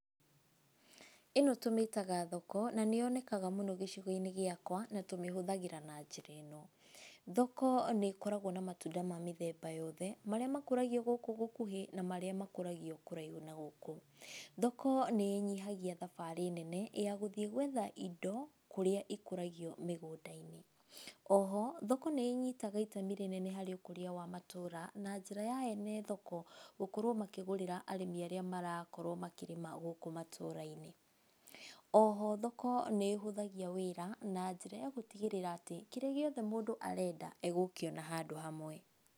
Ĩno tũmĩtaga thoko, na nĩ yonekaga mũno gĩcigo-inĩ gĩakwa na tũmĩhũthagĩra na njĩra ĩno. Thoko nĩ ĩkoragwo na matunda ma mĩthemba yoothe, marĩa makũragio gũkũ gũkuhĩ na marĩa makũragio kũraihu na gũkũ. Thoko nĩ ĩnyihagia thabarĩ nene ya gũthiĩ gwetha indo kũrĩa ikũragwo mĩgũnda-inĩ. Oho, thoko nĩ inyitaga itemi rĩnene harĩ ũkũria wa matũũra na njĩra ya ene thoko gũkorwo makĩgũrĩra arĩmi arĩa marakorwo makĩrĩma gũkũ matũũra-inĩ. Oho thoko nĩ ĩhũthagia wĩra na njĩra ya gũtigĩrĩra atĩ kĩrĩa gĩothe mũndũ arenda egũkĩona handũ hamwe.